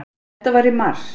Þetta var í mars.